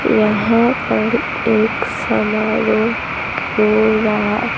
यहाँ पर एक समारोह हो रहा--